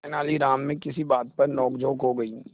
तेनालीराम में किसी बात पर नोकझोंक हो गई